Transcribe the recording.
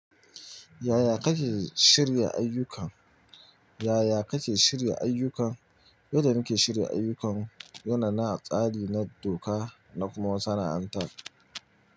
Yaya kake shirya ayyukan? Yaya kake shirya ayyukan? Yadda muke shirya ayyukan, yana nan a tsari na doka na kuma sana'antar.